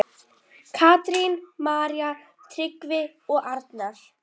Katrín, María, Tryggvi og Arnar.